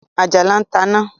Àjàlá ta ń na